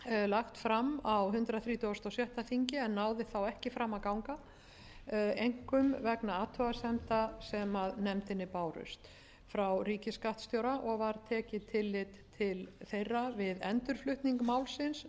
lagt fram á hundrað þrítugasta og sjötta þingi en náði þá ekki fram að ganga einkum vegna athugasemda sem nefndinni bárust frá ríkisskattstjóra og var tekið tillit til þeirra við endurflutning málsins